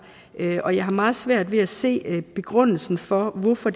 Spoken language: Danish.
og jeg har meget svært ved at se begrundelsen for hvorfor